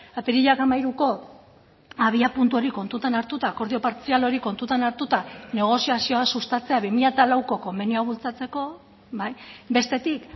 apirilak hamairuko abiapuntu hori kontutan hartuta akordio partzial hori kontutan hartuta negoziazioa sustatzea bi mila lauko konbenioa bultzatzeko bestetik